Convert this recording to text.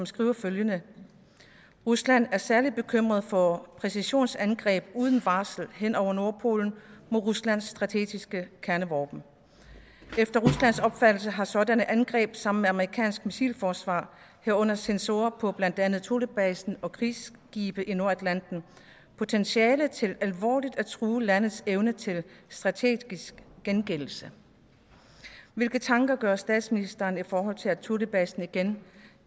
står følgende rusland er særligt bekymret for præcisionsangreb uden varsel hen over nordpolen mod ruslands strategiske kernevåben efter ruslands opfattelse har sådanne angreb sammen med amerikansk missilforsvar herunder sensorer på blandt andet thulebasen og krigsskibe i nordatlanten potentiale til alvorligt at true landets evne til strategisk gengældelse hvilke tanker gør statsministeren sig i forhold til at thulebasen igen